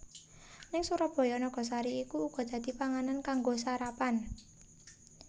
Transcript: Ning Surabaya nagasari iku uga dadi panganan kanggo sarapan